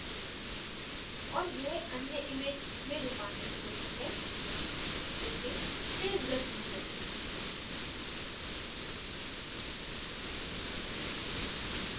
और यह अन्य image में रूपांतरित होती है लेकिन तेज़ गति से